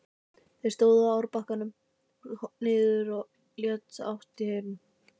Þeir stóðu á árbakkanum og niðurinn lét hátt í eyrum.